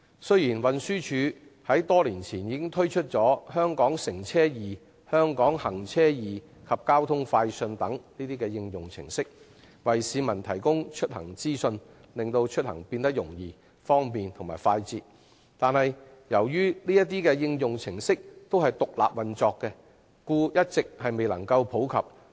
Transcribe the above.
雖然運輸署於多年前推出"香港乘車易"、"香港行車易"及"交通快訊"等應用程式，為市民提供出行資訊，使出行變得更容易、方便和快捷，但由於這些應用程式獨立運作，一直未能普及。